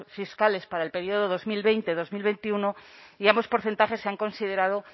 fiscales para el periodo dos mil veinte dos mil veintiuno y ambos porcentajes se han considerado